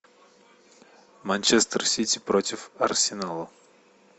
манчестер сити против арсенала